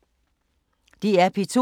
DR P2